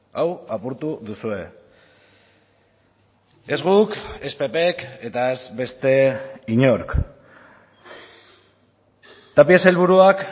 hau apurtu duzue ez guk ez ppk eta ez beste inork tapia sailburuak